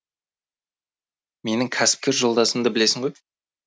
менің кәсіпкер жолдасымды білесің ғой